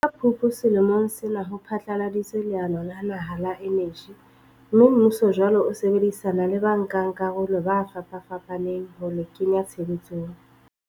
Ka Phupu selemong sena ho phatlaladitswe leano la naha la eneji mme, mmuso jwale o sebedisana le bankakarolo ba fapafapaneng ho le kenya tshebetsong.